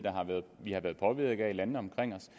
vi og landene omkring os